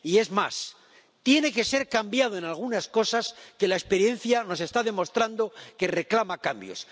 Y, es más, tiene que ser cambiado en algunas cosas que la experiencia nos está demostrando que reclama cambios.